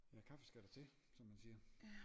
Ja kaffe skal der til som man siger